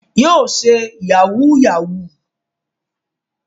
Yóò ṣe yahúù-yahù.